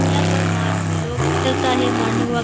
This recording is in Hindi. यहां पर मार्ट में लोग है मॉर्निंग वाक --